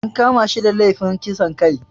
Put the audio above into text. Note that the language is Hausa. An kama shi da lefin kisan kai